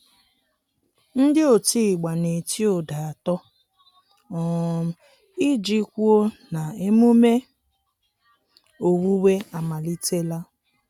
Ndị otigba na-eti ụda atọ um iji kwụo na emume owuwe amalitela.